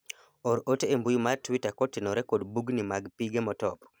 or ote e mbui mar twita kotenore kod bugni mag pige motop